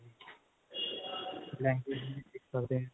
language ਵੀ ਸਿੱਖ ਸਕਦੇ ਹਾਂ